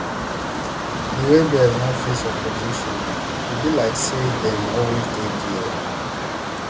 di rebels no face opposition e be like say dem always dey dia